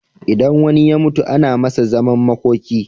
Idan wani ya mutu ana Masa zaman makoki